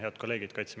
Head kolleegid!